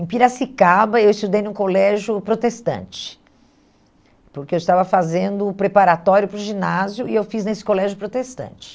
Em Piracicaba eu estudei num colégio protestante, porque eu estava fazendo o preparatório para o ginásio e eu fiz nesse colégio protestante.